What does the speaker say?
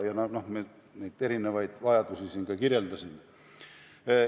Ma neid erinevaid vajadusi siin ka kirjeldasin.